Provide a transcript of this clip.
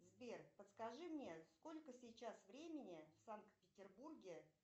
сбер подскажи мне сколько сейчас времени в санкт петербурге